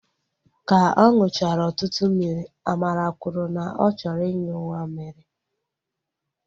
Ka ọ nụchara ọtụtụ mmiri, Amara kwuru na ọ chọrọ inyu mamịrị